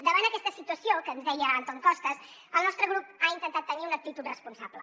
davant aquesta situació que ens deia antón costas el nostre grup ha intentat tenir una actitud responsable